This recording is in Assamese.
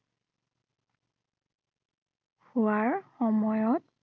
হোৱাৰ সময়ত